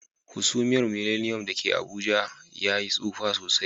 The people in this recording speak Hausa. Hasumiyar Millennium da ke Abuja ta Yi tsufa sosai.